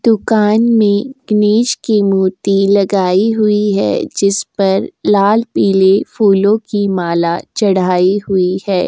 दुकान में इमेज की मूर्ति लगाई हुई है। जिस पर लाल पीली फूलों की माला चढ़ाई हुई है।